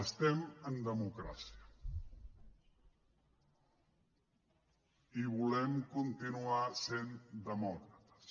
estem en democràcia i volem continuar sent demòcrates